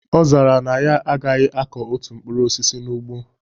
Ọ zara na ya agaghị akọ otu mkprur osisi n'ugbo